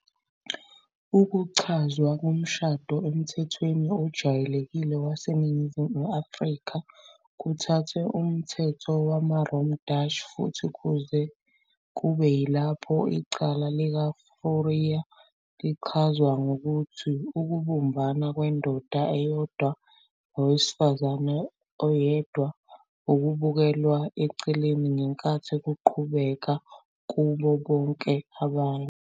Ukuchazwa komshado emthethweni ojwayelekile waseNingizimu Afrika kuthathwe umthetho wamaRom-Datch, futhi kuze kube yilapho icala "likaFourie" lichazwa ngokuthi "ukubumbana kwendoda eyodwa nowesifazane oyedwa, ukubekelwa eceleni, ngenkathi kuqhubeka, kubo bonke abanye".